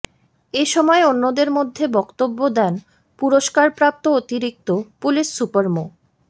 এ সময় অন্যদের মধ্যে বক্তব্য দেন পুরস্কারপ্রাপ্ত অতিরিক্ত পুলিশ সুপার মো